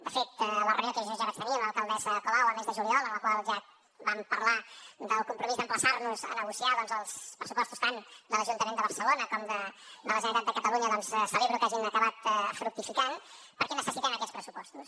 de fet la reunió que jo ja vaig tenir amb l’alcaldessa colau el mes de juliol en la qual ja vam parlar del compromís d’emplaçar nos a negociar els pressupostos tant de l’ajuntament de barcelona com de la generalitat de catalunya celebro que hagin acabat fructificant perquè necessitem aquests pressupostos